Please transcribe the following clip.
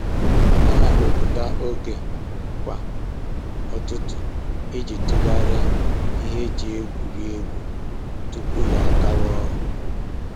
Ọ na-ewepụta oge kwa ụtụtụ iji tụgharịa ihe e ji egwuri egwu tupu ya agawa ọrụ